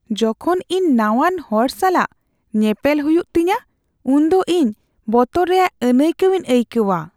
ᱡᱚᱠᱷᱚᱱ ᱤᱧ ᱱᱟᱣᱟᱱ ᱦᱚᱲ ᱥᱟᱞᱟᱜ ᱧᱮᱯᱮᱞ ᱦᱩᱭᱩᱜ ᱛᱤᱧᱟᱹ ᱩᱱᱫᱚ ᱤᱧ ᱵᱚᱛᱚᱨ ᱨᱮᱭᱟᱜ ᱟᱹᱱᱟᱹᱭᱠᱟᱹᱣ ᱤᱧ ᱟᱹᱭᱠᱟᱹᱣᱟ ᱾